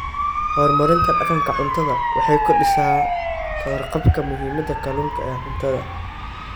Horumarinta Dhaqanka Cuntada Waxay kordhisaa ka warqabka muhiimada kalluunka ee cuntada.